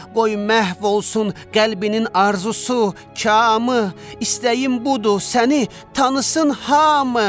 Qoy məhv olsun qəlbinin arzusu, kamı, istəyim budur səni tanısın hamı.